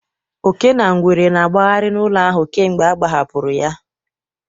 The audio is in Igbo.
Oke na ngwere na-agbagharị n'ụlọ ahụ kemgbe ọ agbahapụrụ ya.